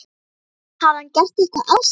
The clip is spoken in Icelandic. Hafði hann gert eitthvað af sér?